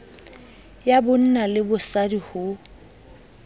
ya bonna le bosadi ho